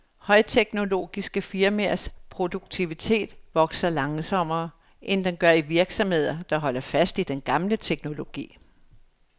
Højteknologiske firmaers produktivitet vokser langsommere, end den gør i virksomheder, der holder fast i den gamle teknologi.